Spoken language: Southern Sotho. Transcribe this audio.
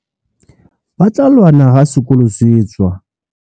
Ba tla lwana ha sekolo se tswa.